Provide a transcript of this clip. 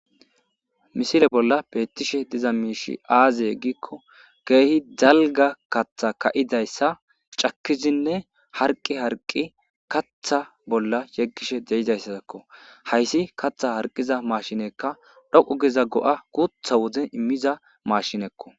Misile bolla beeththishe diza miishshi aazee giikko keehi dalgga kaththa ka7izayssa cakkizinne harqqi harqqi kaththa bolla yeggishe de7izayssakko; haysi kaththaa harqqida maashineekka dhoqu giza go7aa guuththa wode immiza maashinekkoo.